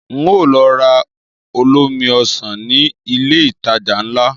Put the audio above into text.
Ń ó lọ ra olómi Ọsàn ní ilé ìtajà ńlá